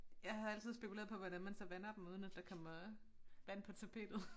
Jeg har altid spekuleret på hvordan man så vander dem uden at der kommer vand på tapetet